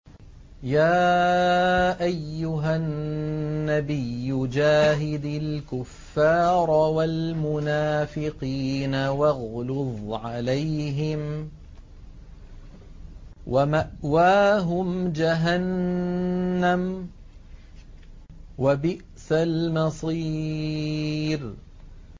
يَا أَيُّهَا النَّبِيُّ جَاهِدِ الْكُفَّارَ وَالْمُنَافِقِينَ وَاغْلُظْ عَلَيْهِمْ ۚ وَمَأْوَاهُمْ جَهَنَّمُ ۖ وَبِئْسَ الْمَصِيرُ